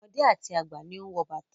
Ọmọdé àti àgbà ni ó ń wọ bàtà.